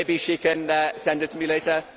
maybe she can send it to me later.